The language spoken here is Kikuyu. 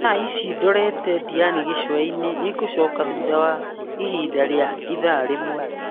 Tha ici ndorete Diani gĩcua-inĩ nĩngũcoka thutha wa ihinda rĩa ithaa rĩmwe.